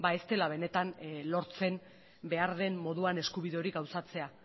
ez dela benetan lortzen behar den moduan eskubide hori gauzatzea